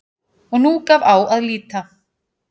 Og nú gaf á að líta.